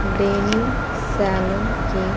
denim salon क--